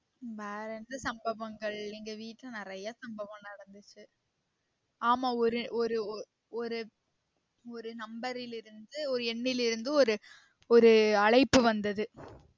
வேற என்ன சம்பவங்கள் எங்க வீட்ல நெறைய சம்பவம் நடந்துச்சி ஆமா ஒரு ஒரு ஓ ஒரு ஒரு number ல் இருந்து ஒரு எண்ணில் இருந்து ஒரு ஒரு அழைப்பு வந்தது